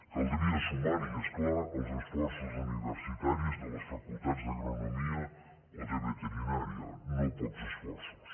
caldria sumar hi és clar els esforços universitaris de les facultats d’agronomia o de veterinària no pocs esforços